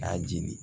K'a jeli